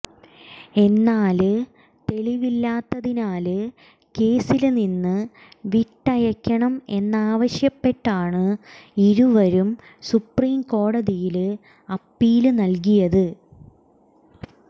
എന്നാല് തെളിവില്ലാത്തതിനാല് കേസില്നിന്ന് വിട്ടയക്കണം എന്നാവശ്യപ്പെട്ടാണ് ഇരുവരും സുപ്രിംകോടതിയില് അപ്പീല് നല്കിയത്